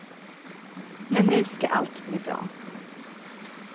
Men nu ska allt bli bra.